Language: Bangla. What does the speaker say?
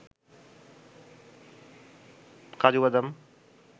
কাজুবাদাম